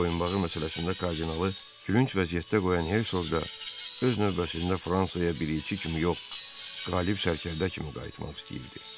Boyunbağı məsələsində kardinalı gülünc vəziyyətdə qoyan Herqoq da öz növbəsində Fransaya bir elçi kimi yox, qalib sərkərdə kimi qayıtmaq istəyirdi.